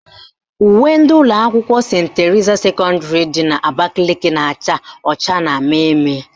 Uwe ndị ụlọakwụkwọ Senti Terisa sekọndịrị dị n'Abakaliki na-acha ọcha na mmemme